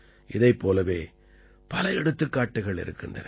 இதைப் போலவே பல எடுத்துக்காட்டுகள் இருக்கின்றன